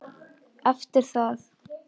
Eftir það